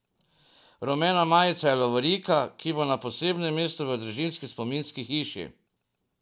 Rumena majica je lovorika, ki bo na posebnem mestu v družinski spominski hiši.